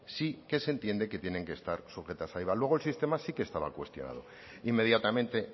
sí que se entiende que tienen que estar sujetas a iva luego el sistema sí que estaba cuestionado inmediatamente